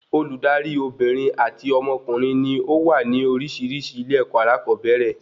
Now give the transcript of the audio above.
Olùdarí Obìnrin àti ọmọkùnrin ní ówà ní orísirísi ilé-èkó alakobere